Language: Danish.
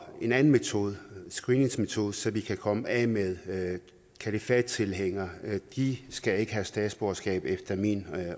en anden metode en screeningsmetode så vi kan komme af med kalifattilhængere de skal ikke have statsborgerskab efter min